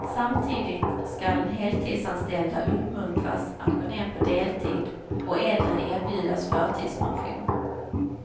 Samtidigt skall heltidsanställda uppmuntras att gå ner på deltid och äldre erbjudas förtidspension.